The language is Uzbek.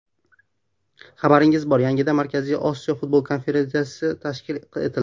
Xabaringiz bor, yaqinda Markaziy Osiyo futbol konfederatsiyasi tashkil etildi.